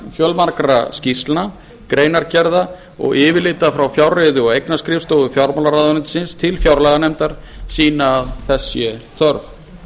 fjölmargra skýrslna greinargerða og yfirlita frá fjárreiðu og eignaskrifstofa fjármálaráðuneytisins til fjárlaganefndar sýna að þess er þörf